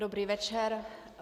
Dobrý večer.